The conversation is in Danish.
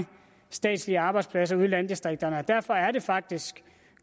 statslige arbejdspladser ude i landdistrikterne derfor er det faktisk